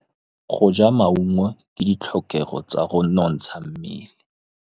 Go ja maungo ke ditlhokegô tsa go nontsha mmele.